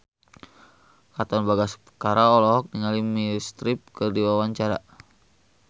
Katon Bagaskara olohok ningali Meryl Streep keur diwawancara